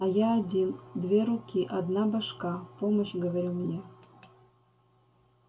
а я один две руки одна башка помощь говорю мне